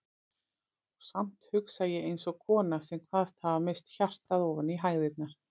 Og samt hugsa ég eins og kona sem kvaðst hafa misst hjartað ofan í hægðirnar.